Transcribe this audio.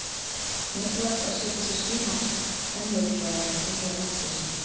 Mikilvægt er að setja sér skýr markmið- enn mikilvægara er að fylgja þeim eftir.